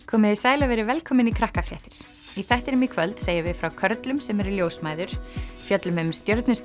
komiði sæl og verið velkomin í í þættinum í kvöld segjum við frá körlum sem eru ljósmæður fjöllum um